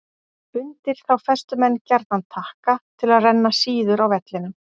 Undir þá festu menn gjarnan takka til að renna síður á vellinum.